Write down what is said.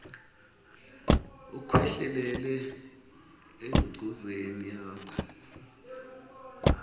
ukhwehlelele engcozeni yakho